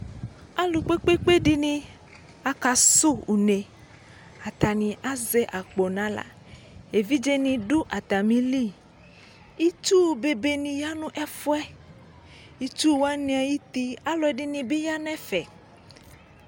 Aalʋ kpekpekpe ɖini akʋsʋ une' atani azɛ akpo n'aɣlaEvidzeni ɖʋ atamiliItsu bebeni ya n'ɛfuɛItsuwani ayiti, aalʋɛɖinibi yaa n'ɛfɛ